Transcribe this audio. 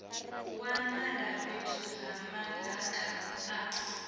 wanala fhethu ha madaka a